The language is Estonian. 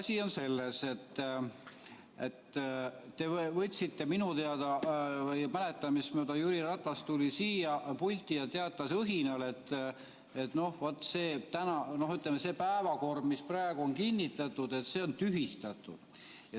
Asi on selles, et minu mäletamist mööda Jüri Ratas tuli siia pulti ja teatas õhinal, et vot, see päevakord, mis praegu on kinnitatud, on tühistatud.